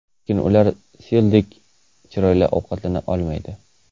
Lekin ular Sildek chiroyli ovqatlana olmaydi.